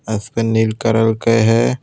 आसमान नील कलर का है।